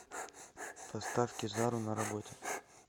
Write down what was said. поставь кизару на работе